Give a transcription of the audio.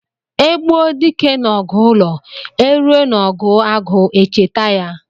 E gbuo dike n'ọgụ ụlọ, e ruo n'ọgụ agụ echeta ya.